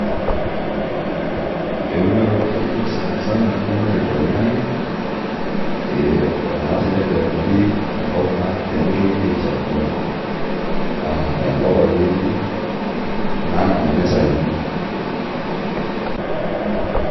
eunore oo ilkeek naret duo sani sana naret olaingang'e ee tenelenori enkop pee aishafua enkop akeyieyie namanita iyiiok.